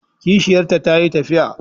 Kishiyarta ta yi tafiya.